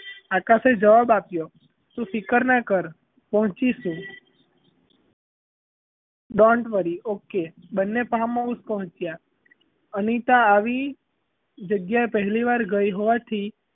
આકાશએ જવાબ આપ્યો તું ફિકરનાં કર પહોચીશું don't worryokay બન્ને farm house પહોચ્યાં અનિતા આવી જગ્યાએ પહેલીવાર ગઈ હોવાથી,